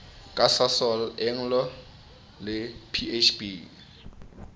ka sasol anglo le bhp